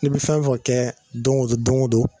Ne bi fɛn fɛn kɛ don go don don go don